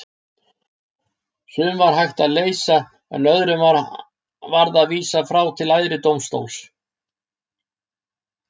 Sum var hægt að leysa en öðrum varð að vísa til æðri dómstóla.